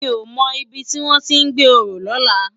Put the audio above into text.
Mi ó mò ibi tiwòn ti n gbé óró lòlá